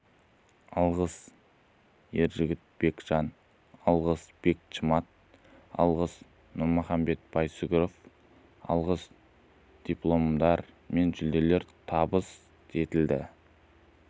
алғыс ержігіт бекжан алғыс бек шымат алғыс нұрмұхамед байсүгіров алғыс дипломдар мен жүлделер табыс етілді